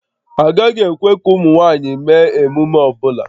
Agaghị ekwe ka ụmụ nwanyị mee emume ọ bụla